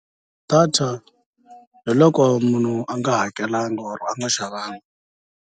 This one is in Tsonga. Data hiloko munhu a nga hakelanga or a nga xavanga.